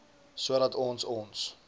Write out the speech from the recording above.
sodat ons ons